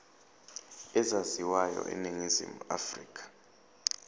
ezaziwayo eningizimu afrika